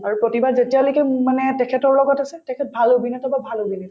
আৰু প্ৰতিভা যেতিয়ালৈকে মোৰ মানে তেখেতৰ লগত আছে তেখেত ভাল অভিনেতা বা ভাল অভিনেত্ৰী